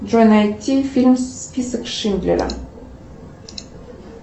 джой найти фильм список шиндлера